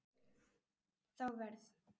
Þá verð